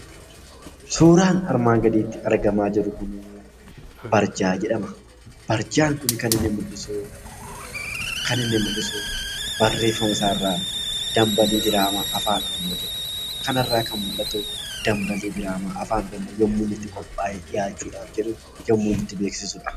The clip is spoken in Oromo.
Suuraan armaan gaditti argamaa jiru kunbbarjaa jedhama. Barjaan kuni kan inni mul'isubbarreefamasaarraa 'Dambalii diraamaa Afaan Oromoo 'jedhuudha. Kanarraa kan mul'atu dambaliin diraamaa Afaan Oromoo yommuu inni itti qophaa'ee dhiyaachuudhaaf jedhu yommuu inni itti beeksisudha.